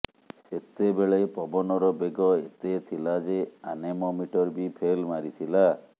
ସେତେବେଳେ ପବନର ବେଗ ଏତେ ଥିଲା ଯେ ଆନେମୋମିଟର ବି ଫେଲ୍ ମାରିଥିଲା